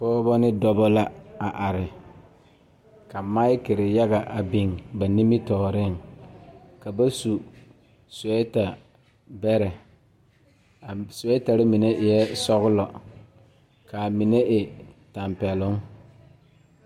Pɔgeba are ka bamine zeŋ ka gangaare biŋ kaŋa zaa toɔ puli kyɛ ka ba zage ba nuure kaa do saa kyɛ ka ba gbɛɛ meŋ gaa.